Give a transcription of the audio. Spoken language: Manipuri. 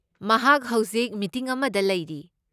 ꯃꯍꯥꯛ ꯍꯧꯖꯤꯛ ꯃꯤꯇꯤꯡ ꯑꯃꯗ ꯂꯩꯔꯤ꯫